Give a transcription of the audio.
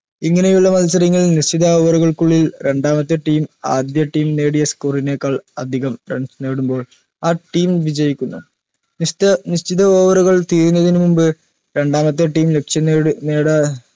ഇങ്ങനെയുള്ള മത്സരങ്ങളിൽ നിശ്ചിത over ഉകൾക്കുള്ളിൽ അദ്യ team നേടിയ score നേക്കാൾ അതികം runs നേടുമ്പോൾ ആ team വിജയിക്കുന്നു നിശ്ച നിശ്ചിത over ഉകൾ തീരുന്നതിന് മുമ്പ് രണ്ടാമത്തെ team ലക്ഷ്യം നേട് നേട